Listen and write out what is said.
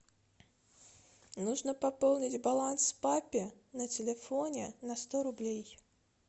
нужно пополнить баланс папе на телефоне на сто рублей